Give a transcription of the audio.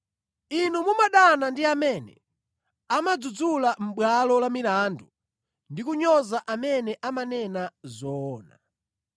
inu mumadana ndi amene amadzudzula mʼbwalo la milandu ndi kunyoza amene amanena zoona.